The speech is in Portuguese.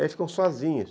E aí ficam sozinhas.